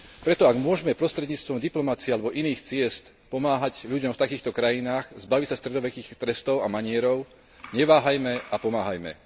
Preto ak môžme prostredníctvom diplomacie alebo iných ciest pomáhať ľuďom v takýchto krajinách zbaviť sa stredovekých trestov a manierov, neváhajme a pomáhajme!